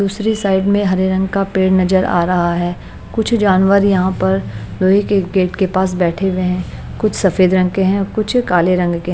दूसरी साइड में हरे रंग का पेड़ नजर आ रहा है कुछ जानवर यहाँ पर लोहे के गेट के पास बैठे हुए है कुछ सफ़ेद रंग के हैं कुछ काले रंग के।